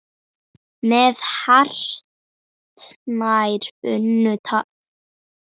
Við vorum alveg með þetta.